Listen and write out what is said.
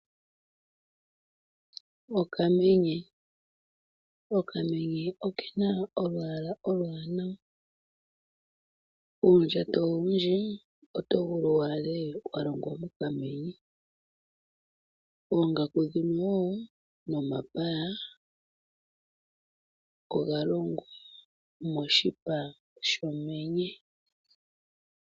Okamenye, okamenye okena olwaala oluwanawa. Uundjato owundji otovulu waadhe walongwa mokamenye, oongaku dhimwe wo nomapaya oga longwa moshipa shomenye.